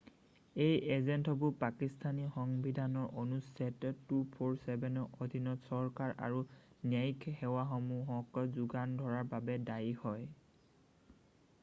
এই এজেন্টসমূহ পাকিস্থানী সংবিধানৰ অনুচ্ছেদ 247 ৰ অধীনত চৰকাৰ আৰু ন্যায়িক সেৱাসমূহক যোগান ধৰাৰ বাবে দায়ী হয়৷